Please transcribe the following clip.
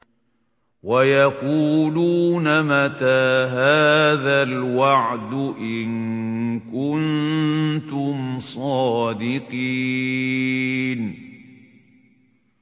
وَيَقُولُونَ مَتَىٰ هَٰذَا الْوَعْدُ إِن كُنتُمْ صَادِقِينَ